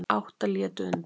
Átta létu undan.